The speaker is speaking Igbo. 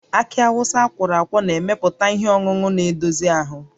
Akị Awụsa akwọrọ akwọ na-emepụta ihe ọṅụṅụ na-edozi ahụ